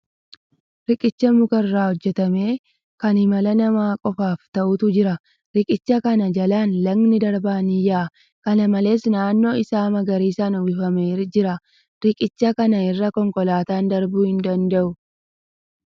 Riiqicha muka irraa hojjatame kan imala namaa qofaaf ta'utu jira. Riiqicha kana jalaan lagni darbaan ni yaa'a. Kana malees , naannoon isaa magariisaan uffamee jira. Riiqicha kana irra konkolaataan darbuu hin danda'u.